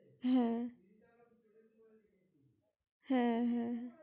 হ্যাঁ! হ্যাঁ! হ্যাঁ! হ্যাঁ!